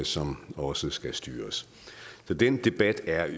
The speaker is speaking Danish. som også skal styres så den debat er